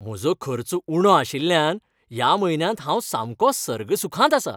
म्हजो खर्च उणो आशिल्ल्यान ह्या म्हयन्यांत हांव सामको सर्गसुखांत आसां.